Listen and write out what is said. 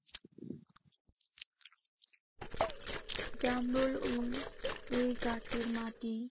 জামরুল ও এ গাছের মাটি